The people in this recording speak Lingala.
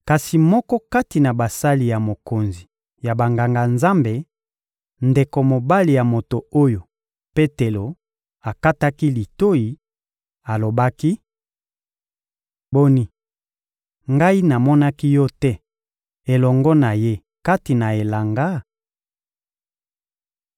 Kasi moko kati na basali ya mokonzi ya Banganga-Nzambe, ndeko mobali ya moto oyo Petelo akataki litoyi, alobaki: — Boni, ngai namonaki yo te elongo na ye kati na elanga?